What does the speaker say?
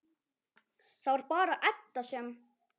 Það var bara Edda sem.